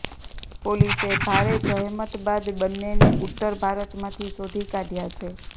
પોલીસે ભારે જહેમત બાદ બંનેને ઉત્તર ભારતમાંથી શોધી કાઢ્યા છે